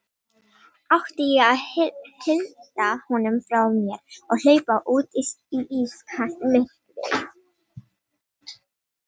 Átti ég að hrinda honum frá mér og hlaupa út í ískalt myrkrið?